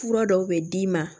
Fura dɔw bɛ d'i ma